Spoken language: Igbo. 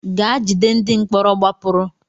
Gaa jide ndị mkpọrọ gbapụrụ!